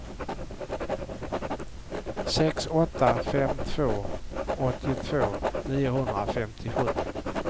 sex åtta fem två åttiotvå niohundrafemtiosju